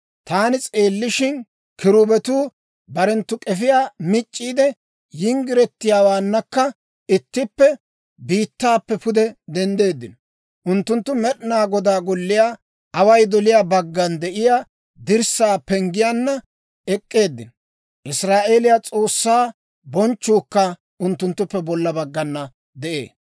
Taani s'eellishshin, kiruubetuu barenttu k'efiyaa mic'c'iide, yinggiretiyaawaannakka ittippe biittaappe pude denddeeddino. Unttunttu Med'inaa Godaa Golliyaa away doliyaa baggan de'iyaa dirssaa penggiyaanna ek'k'eeddino; Israa'eeliyaa S'oossaa bonchchuukka unttunttuppe bolla baggana de'ee.